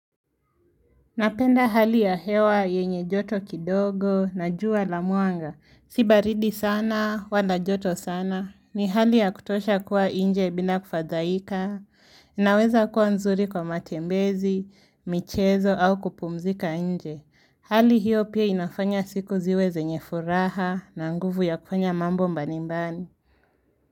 Napenda hali ya hewa yenye joto kidogo na jua la mwanga. Si baridi sana, wala joto sana. Ni hali ya kutosha kuwa nje bila kufadhaika. Inweza kuwa nzuri kwa matembezi, michezo au kupumzika nje. Hali hiyo pia inafanya siku ziwe zenye furaha na nguvu ya kufanya mambo mbali mbali.